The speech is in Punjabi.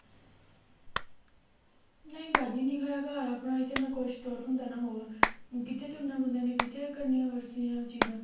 ਨਹੀਂ ਬਾਜੀ ਨਿੱਕਾ ਜਿਹਾ ਘਰ ਆ ਆਪਣਾ ਇੱਥੇ ਨਾ ਕੁਛ ਤੁਰ ਹੁੰਦਾ ਨਾ ਹੋਰ, ਕਿੱਥੇ ਤੁਰਨਾ ਬੰਦੇ ਨੇ ਕਿੱਥੇ ਕਰਨੀਆਂ ਵਰਜਿਸਾਂ ਚੀਜ਼ਾਂ